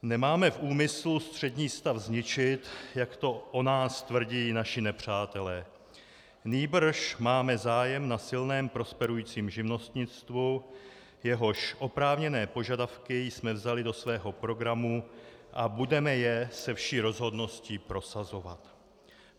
"Nemáme v úmyslu střední stav zničit, jak to o nás tvrdí naši nepřátelé, nýbrž máme zájem na silném prosperujícím živnostnictvu, jehož oprávněné požadavky jsme vzali do svého programu, a budeme je se vší rozhodností prosazovat."